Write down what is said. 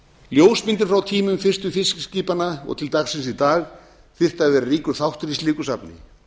ljósmyndir frá tímum fyrstu fiskiskipanna og til dagsins í dag þyrftu að vera ríkur þáttur í slíku safni